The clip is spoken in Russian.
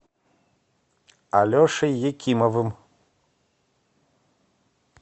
алешей якимовым